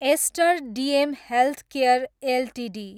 ester DM healthcare Ltd